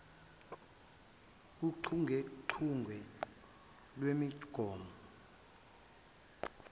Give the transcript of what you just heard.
kochungechunge lwemigomo yokuthengwa